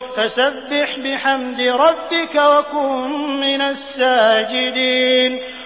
فَسَبِّحْ بِحَمْدِ رَبِّكَ وَكُن مِّنَ السَّاجِدِينَ